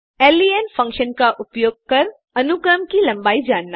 लेन function का उपयोग कर अनुक्रम की लम्बाई जानना